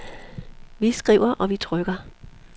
Vi skriver og vi trykker.